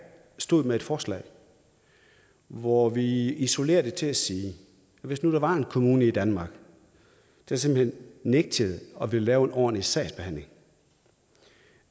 stod med et forslag hvor vi isolerede det til at sige at hvis der var en kommune i danmark der simpelt hen nægtede at ville lave en ordentlig sagsbehandling